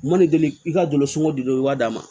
Ma deli k'i ka dusukolo i b'a d'a ma